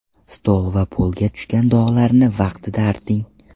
Stol va polga tushgan dog‘larni vaqtida arting.